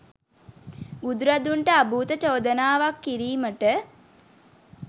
බුදුරදුන්ට අභූත චෝදනාවක් කිරීමට